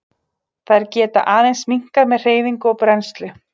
Þær geta aðeins minnkað með hreyfingu og brennslu.